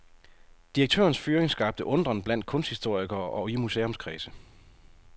Direktørens fyring skabte undren blandt kunsthistorikere og i museumskredse.